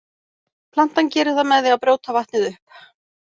Plantan gerir það með því að brjóta vatnið upp.